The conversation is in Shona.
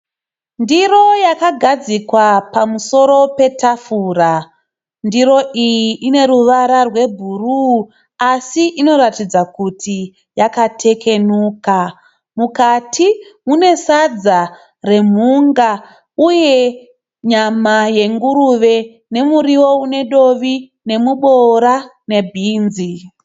Ndiro yakagadzikwa pamusoro petafura. Ndiro iyi ineruvara rwebhuruu asi inoratidza kuti yakatekenuka. Mukati mune sadza remhunga uye nyama yenguruve nemuriwo une dovi nemuboora ne bhinzi.